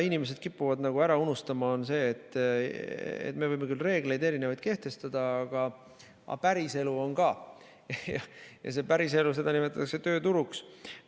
Inimesed kipuvad ära unustama, et me võime küll erinevaid reegleid kehtestada, aga päriselu on ka ja seda päriselu nimetatakse tööturuks.